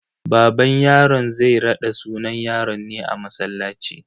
Baban yaron zai raɗa sunan yaron ne a masallaci.